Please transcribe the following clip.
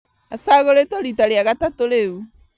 Acagũrĩtwo rita rĩa gatatũ rĩu